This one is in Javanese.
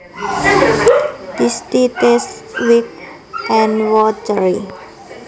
This tea tastes weak and watery